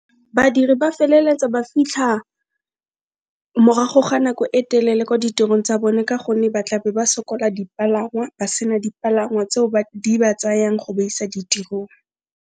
Badiri ba feleletsa ba fitlha morago ga nako e telele kwa ditirong tsa bone, ka gonne ba tlabe ba sokola dipalangwa, ba sena dipalangwa tseo di ba tsayang go ba isa ditirong.